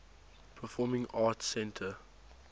performing arts center